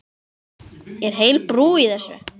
Er heil brú í þessu?